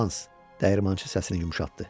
Hans, dəyirmançı səsini yumşaltdı.